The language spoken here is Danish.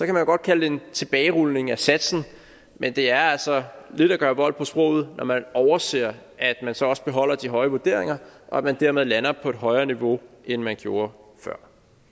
man godt kalde det en tilbagerulning af satsen men det er altså lidt at gøre vold på sproget når man overser at man så også beholder de høje vurderinger og at man dermed lander på et højere niveau end man gjorde før